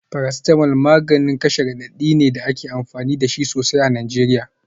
Paracetamol maganin kashe radadi ne da ake amfani da shi sosai a Najeriya.